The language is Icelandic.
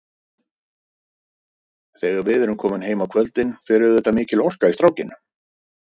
Þegar við erum komin heim á kvöldin fer auðvitað mikil orka í strákinn.